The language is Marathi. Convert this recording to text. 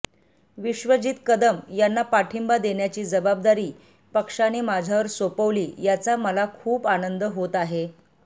विश्वजित कदम यांना पाठिंबा देण्याची जबाबदारी पक्षाने माझ्यावर सोपवली याचा मला खूप आनंद होत आहे